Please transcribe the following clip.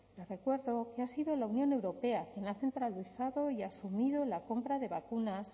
le recuerdo que ha sido la unión europea quien ha centralizado y asumido la compra de vacunas